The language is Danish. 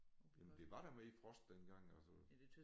Jamen der var da mere frost dengang altså